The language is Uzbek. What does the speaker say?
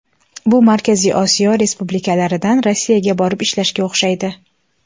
Bu Markaziy Osiyo respublikalaridan Rossiyaga borib ishlashga o‘xshaydi.